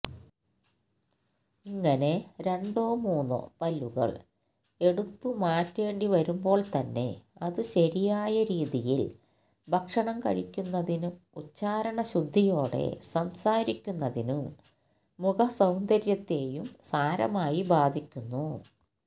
ഇങ്ങനെ രണ്ടോ മൂന്നോ പല്ലുകള് എടുത്തുമാറ്റേണ്ടിവരുമ്പോള്ത്തന്നെ അത് ശരിയായ രീതിയില് ഭക്ഷണം കഴിക്കുന്നതിനും ഉച്ചാരണശുദ്ധിയോടെ സംസാരിക്കുന്നതിനും മുഖസൌന്ദര്യത്തെയും സാരമായി ബാധിക്കുന്നു